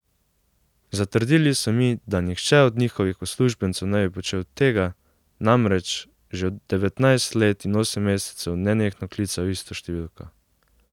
Zatrdili so mi, da nihče od njihovih uslužbencev ne bi počel tega, namreč, že devetnajst let in osem mesecev nenehno klical isto številko.